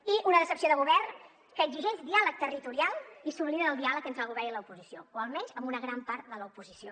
i una decepció de govern que exigeix diàleg territorial i s’oblida del diàleg entre el govern i l’oposició o almenys amb una gran part de l’oposició